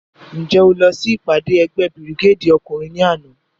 Njẹ o lọ si ipade ẹgbẹ birigedi ọkunrin ni ana?